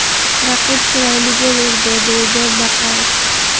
Raqib chiroyli gol urdi”, deydi Baqoyev.